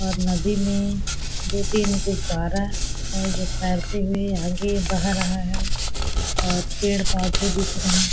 और नदी में दो-तीन गुब्बारा है जो तैरते हुए यहाँ के बह रहा है और पेड़-पौधे दिख रहे --